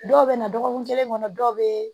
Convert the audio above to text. Dɔw bɛna dɔgɔkun kelen kɔnɔ dɔw bɛ